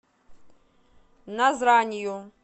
назранью